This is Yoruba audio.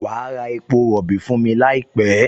Wà á ra epo rọ̀bì fún mi láìpẹ́!